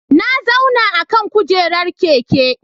Na zauna akan kujerar keke.